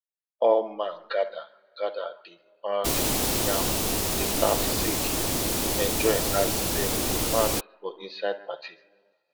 all man gather gather dey pound yam dey laugh sing dey enjoy as dem dey pound for inside party